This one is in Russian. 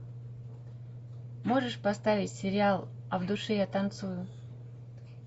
можешь поставить сериал а в душе я танцую